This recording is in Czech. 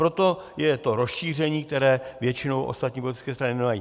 Proto je to rozšíření, které většinou ostatní politické strany nemají.